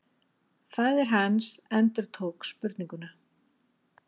Faðir hans endurtók spurninguna.